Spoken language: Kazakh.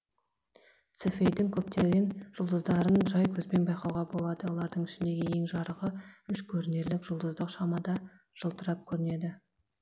цефейдің көптеген жұлдыздарын жай көзбен байқауға болады олардың ішіндегі ең жарығы үш көрінерлік жұлдыздық шамада жалтырап көрінеді